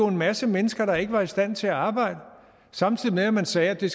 en masse mennesker der ikke var i stand til at arbejde samtidig med at man sagde at det